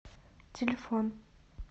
телефон